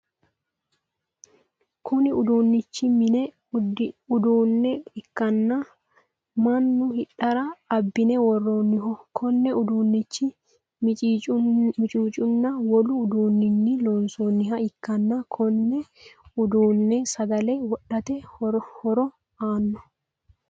Kunni uduunichi mine uduune ikanna Manu hidhara abine worooniho. Konne uduunchi miciicunninna wolu uduunninni loonsoonniha ikanna konne uduune sagale wodhate horo aano.